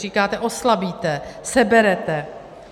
Říkáte - oslabíte, seberete.